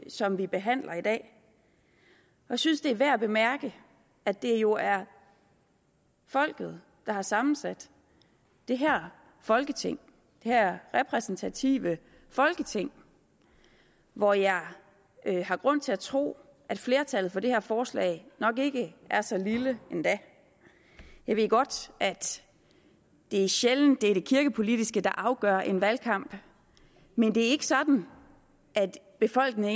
som vi behandler i dag jeg synes det er værd at bemærke at det jo er folket der har sammensat det her folketing det her repræsentative folketing og jeg har grund til at tro at flertallet for det her forslag nok ikke er så lille endda jeg ved godt det er sjældent det er det kirkepolitiske der afgør en valgkamp men det er sådan at befolkningen